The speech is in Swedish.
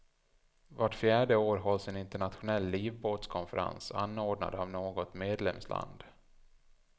Vart fjärde år hålls en internationell livbåtskonferens anordnad av något medlemsland.